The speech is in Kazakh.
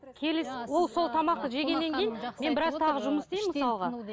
келесі ол сол тамақты жегеннен кейін мен біраз тағы жұмыс істеймін мысалға